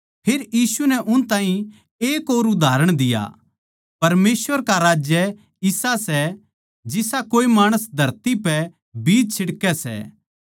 फेर यीशु नै उनतै एक और उदाहरण दिया परमेसवर का राज्य इसा सै जिसा कोई माणस धरती पै बीज छिडकै सै